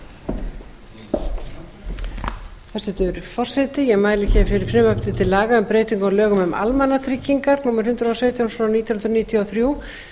byrjun til enda hæstvirtur forseti ég mæli hér fyrir frumvarpi til laga um breytingu á lögum um almannatryggingar númer hundrað og sautján nítján hundruð níutíu og þrjú